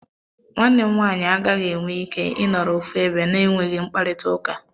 Nwanne m nwaanyị a gaghị enwe ike ị nọrọ ofu ebe na-enweghị mkparịtaụka.